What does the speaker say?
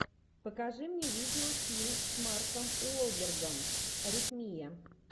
покажи мне видеофильм с марком уолбергом аритмия